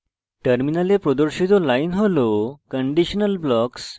terminal প্রদর্শিত line হল